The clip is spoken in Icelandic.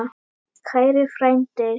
Kæri frændi!